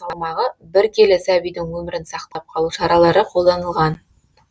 салмағы бір келі сәбидің өмірін сақтап қалу шаралары қолданылған